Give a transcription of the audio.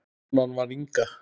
Konan var Inga.